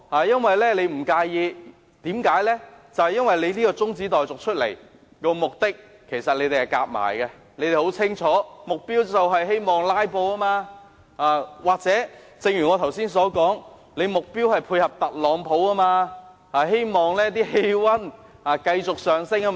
因為他提出中止待續議案一事，已與其他人合謀，而目的大家也很清楚，只是為了"拉布"，或正如我剛才所說，目標是配合特朗普，希望氣溫繼續上升。